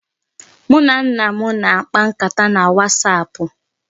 Mụ na nna m na-akpa nkata na wasapụ